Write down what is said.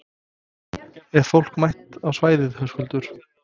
Er fólk mætt á svæðið, Höskuldur?